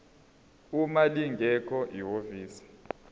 uma lingekho ihhovisi